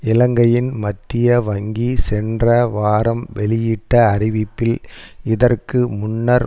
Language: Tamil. இலங்கையின் மத்திய வங்கி சென்ற வாரம் வெளியிட்ட அறிவிப்பில் இதற்கு முன்னர்